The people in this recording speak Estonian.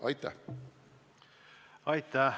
Aitäh!